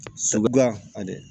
Sagi guya